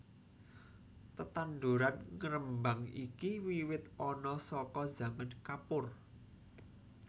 Tetanduran ngembang iki wiwit ana saka zaman Kapur